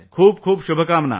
खूप शुभकामना भैया।